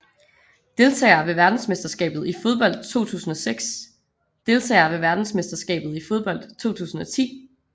Deltagere ved verdensmesterskabet i fodbold 2006 Deltagere ved verdensmesterskabet i fodbold 2010